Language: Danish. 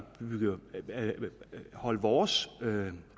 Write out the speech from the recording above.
holde vores